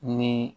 Ni